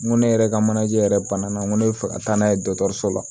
N ko ne yɛrɛ ka manaje yɛrɛ bana na n ko ne bɛ fɛ ka taa n'a ye dɔgɔtɔrɔso la